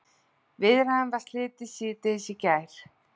Viðræðunum var slitið síðdegis í gær